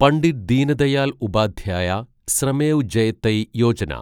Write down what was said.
Pandit Deendayal Upadhyaya Shramev Jayate Yojana